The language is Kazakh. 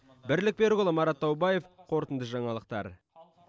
бірлік берікұлы марат таубаев қорытынды жаңалықтар